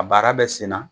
A baara bɛ sen na